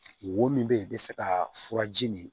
Wo min bɛ ye i bɛ se ka furaji nin